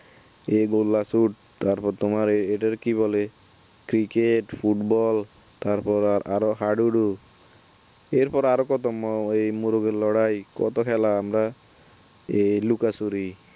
এই গোলা চুট তার পর তোমার এটার কি বলে cricket ফুটবল তার পর আরও হাডুডু এর পর আর কত মো এই মোরগের লড়াই কত খেলা আমরা এই লুকোচুরি